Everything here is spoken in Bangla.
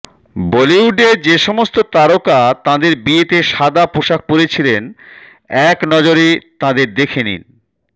বলিউডে যে সমস্ত তারকা তাঁদের বিয়েতে সাদা পোশাক পরেছিলেন এক নজরে তাঁদের দেখে নিন